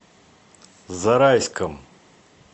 зарайском